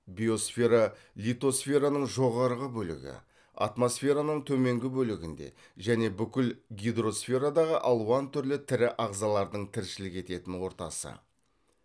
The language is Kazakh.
биосфера литосфераның жоғарғы бөлігі атмосфераның төменгі бөлігінде және бүкіл гидросферадағы алуан түрлі тірі ағзалардың тіршілік ететін ортасы